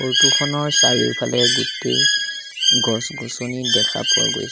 Photo খনৰ চাৰিওফালে গোটেই গছ-গছনি দেখা পোৱা গৈছে।